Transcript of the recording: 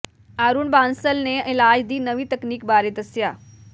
ਅਰੁਣ ਬਾਂਸਲ ਨੇ ਇਲਾਜ ਦੀ ਨਵੀਂ ਤਕਨੀਕ ਬਾਰੇ ਦੱਸਿਆ